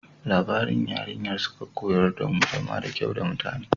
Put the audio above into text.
Labarin Yarinyar Suga ya koyar damu zama da kyau da mutane.